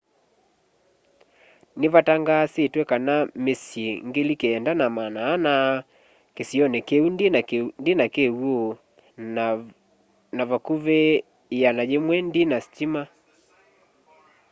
nĩvatangaasĩtwe kana mĩsyĩ 9400 kĩsĩonĩ kĩũ ndĩna kĩw'ũ na vakũvĩ 100 ndĩna sĩtĩma